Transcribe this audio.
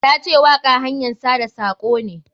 Ta ce waƙa hanyan sada sako ne.